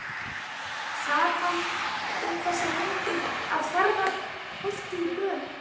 Sat hann um þessar mundir að Hjarðarholti í Dölum.